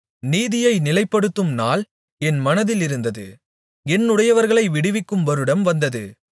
நீதியைநிலைப்படுத்தும் நாள் என் மனதிலிருந்தது என்னுடையவர்களை விடுவிக்கும் வருடம் வந்தது